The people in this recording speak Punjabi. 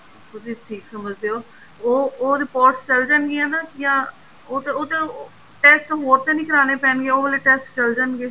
ਤੁਸੀਂ ਠੀਕ ਸਮਝਦੇ ਓ ਉਹ reports ਚੱਲ ਜਾਣਗੀਆਂ ਨਾ ਜਾਂ ਉਹ ਤਾਂ ਉਹ ਤਾਂ test ਹੋਰ ਤਾਂ ਨਹੀਂ ਕਰਾਣੇ ਪੈਣਗੇ ਉਹ ਵਾਲੇ test ਚੱਲ ਜਾਣਗੇ